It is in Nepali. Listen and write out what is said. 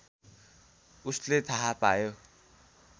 उसले थाहा पायो